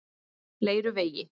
Leiruvegi